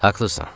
Haqlısan.